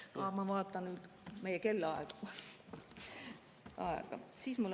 Aa, ma vaatasin valesti meie kellaaega.